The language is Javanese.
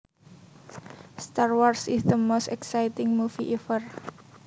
Star Wars is the most exciting movie ever